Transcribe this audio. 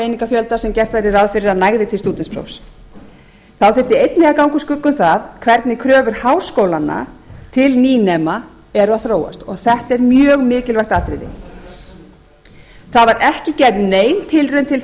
lágmarkseiningafjölda sem gert væri ráð fyrir að næði til stúdentsprófs þá þyrfti einnig að ganga úr skugga um það hvernig kröfur háskólana til nýnema eru að þróast og þetta er mjög mikilvægt atriði það var ekki gerð nein tilraun til